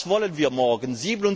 Was wollen wir morgen?